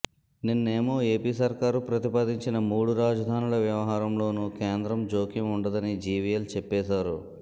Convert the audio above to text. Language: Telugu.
నిన్నేమో ఏపీ సర్కారు ప్రతిపాదించిన మూడు రాజధానుల వ్యవహారంలోనూ కేంద్రం జోక్యం ఉండదని జీవీఎల్ చెప్పేశారు